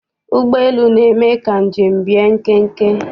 Ụgbọelu na-eme ka njem bie nkenke.